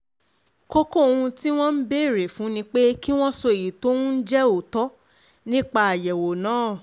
kókó ohun um tí wọ́n ń béèrè fún ni pé kí wọ́n sọ èyí tó ń jẹ́ òótọ́ nípa nípa àyẹ̀wò náà um